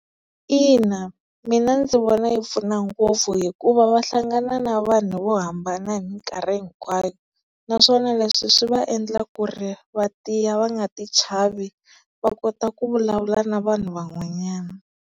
Ina mina ndzi vona yi pfuna ngopfu hikuva va hlangana na vanhu vo hambana hi minkarhi hinkwayo, naswona leswi swi va endla ku ri vatiyile va nga ti chavi va kota ku vulavula na vanhu van'wanyana.